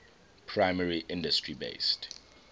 primary industry based